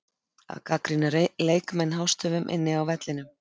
Að gagnrýna leikmenn hástöfum inni á vellinum?